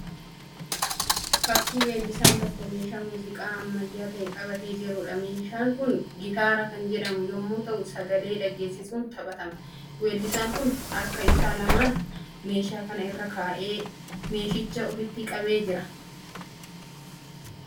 Fakkii weellisaan tokko meeshaa muuziqaa ammayyaa ta'e qabatee jiruudha. Meeshaan kun gitaara kan jedhamu yemmuu ta'u sagalee dhaggeesisuun taphatama. Weellisaan kun harka isaa lamaan meeshaa kana irra kaa'ee meeshicha ofitti qabee jira.